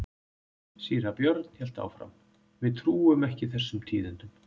Síra Björn hélt áfram:-Við trúum ekki þessum tíðindum.